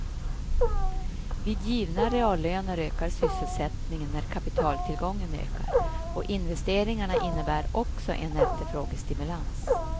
Vid givna reallöner ökar sysselsättningen när kapitaltillgången ökar och investeringarna innebär också en efterfrågestimulans.